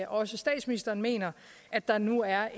også statsministeren mener at der nu er